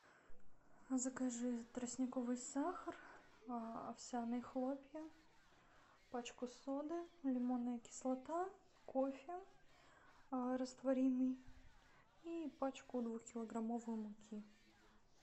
закажи тростниковый сахар овсяные хлопья пачку соды лимонная кислота кофе растворимый и пачку двухкилограммовую муки